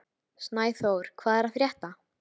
Snæþór, hvað er að frétta?